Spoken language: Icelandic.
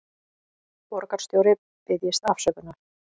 Borgarstjóri biðjist afsökunar